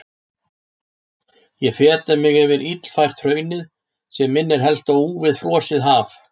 Ég feta mig yfir illfært hraunið sem minnir helst á úfið frosið haf.